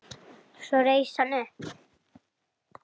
Svo reis hann upp.